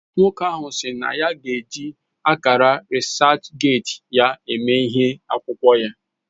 Nwoko ahu SI na ya g'eji akara reaserchgate ya eme ihe akwukwo ya